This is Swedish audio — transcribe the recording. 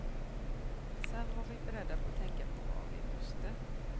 Sedan var vi beredda att tänka på vad vi måste.